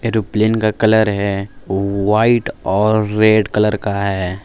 जो प्लेन का कलर है वो व्हाइट और रेड कलर का है।